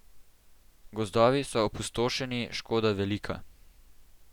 Gozdovi so opustošeni, škoda velika.